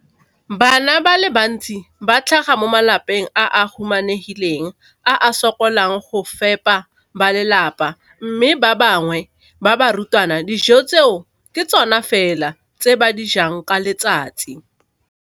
Bana ba le bantsi ba tlhaga mo malapeng a a humanegileng a a sokolang go ka fepa ba lelapa mme ba bangwe ba barutwana, dijo tseo ke tsona fela tse ba di jang ka letsatsi.